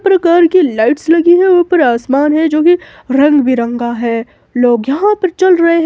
हर प्रकार की लाइट्स लगी है ऊपर आसमान है जो कि रंग बिरंगा है लोग यहां पर चल रहे